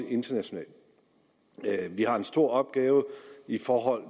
internationalt vi har en stor opgave i forhold